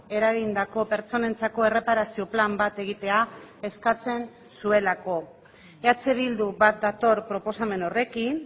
eragindako pertsonentzako erreparazio plan bat egitea eskatzen zuelako eh bildu bat dator proposamen horrekin